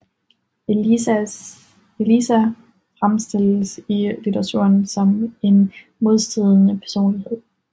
Eliza fremstilles i litteraturen som en modstridende personlighed